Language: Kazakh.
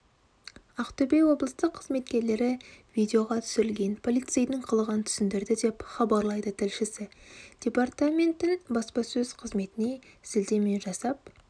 ақтөбе облыстық қызметкерлері видеоға түсірілген полицейдің қылығын түсіндірді деп хабарлайды тілшісі департаменттің баспасөз қызметіне сілтеме жасап